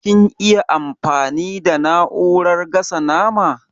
Kin iya amfani da na'urar gasa nama?